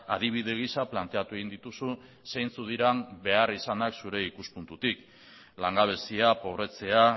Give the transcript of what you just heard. adibide gisa planteatu egin dituzu zeintzuk diren beharrizanak zure ikuspuntutik langabezia pobretzea